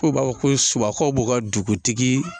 Ko u b'a fɔ ko subaw b'u ka dugutigi